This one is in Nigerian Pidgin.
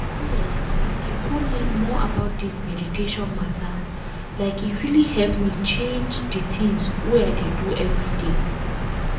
see eeh as i go learn more about this meditation matter like e really help me change di tins wey i dey do everday.